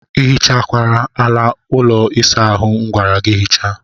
Ị hichakwara ala ụlọ ịsa ahụ m gwara gị hichaa?